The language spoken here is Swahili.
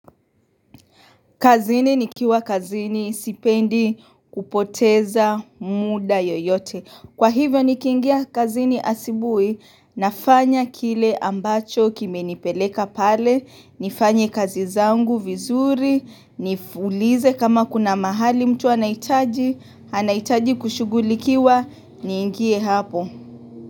Kazini nikiwa kazini sipendi kupoteza muda yoyote. Kwa hivyo nikiingia kazini asubuhi nafanya kile ambacho kimenipeleka pale. Nifanye kazi zangu vizuri. Niulize kama kuna mahali mtu anahitaji. Anahitaji kushugulikiwa niingie hapo.